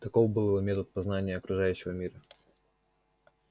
таков был его метод познания окружающего мира